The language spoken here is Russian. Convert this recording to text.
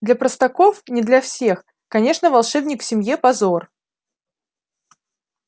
для простаков не для всех конечно волшебник в семье позор